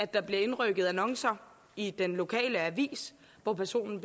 der indrykket annoncer i den lokale avis hvor personen